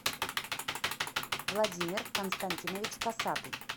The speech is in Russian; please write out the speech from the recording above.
владимир константинович косатый